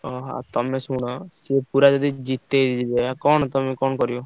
ଓହୋ। ଆଉ ତମେ ଶୁଣ ସିଏ ପୁରା ଯଦି ଜି ତେଇଦେବେ କଣ ତମେ କଣ କରିବ?